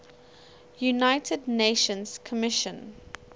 united nations commission